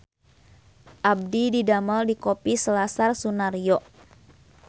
Abdi didamel di Kopi Selasar Sunaryo